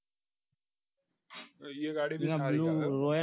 તો એ ગાડી સારી છે એમ